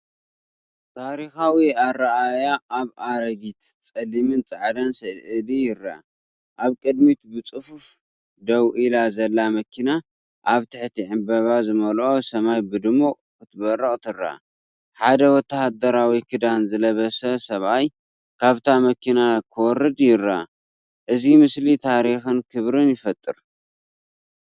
ታሪኻዊ ኣረኣእያ ኣብ ኣረጊት ጸሊምን ጻዕዳን ስእሊ ይርአ። ኣብ ቅድሚት ብጽፉፍ ደው ኢላ ዘላ መኪና ኣብ ትሕቲ ዕንበባ ዝመልኦ ሰማይ ብድሙቕ ክትበርቕ ትርአ። ሓደ ወተሃደራዊ ክዳን ዝለበሰ ሰብኣይ ካብታ መኪና ክወርድ ይረአ። እዚ ምስሊ ታሪኽን ክብርን ይፈጥር።